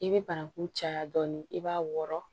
I bɛ bananku caya dɔɔnin i b'a wɔrɔn